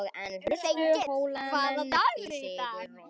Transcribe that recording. Þengill, hvaða dagur er í dag?